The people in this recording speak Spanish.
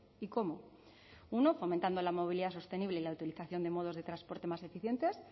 y cómo uno fomentando la movilidad sostenible y la utilización de modos de transporte más eficientes